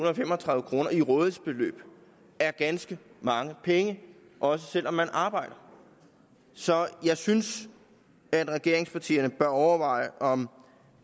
og femogtredive kroner i rådighedsbeløb er ganske mange penge også selv om man arbejder så jeg synes at regeringspartierne overveje om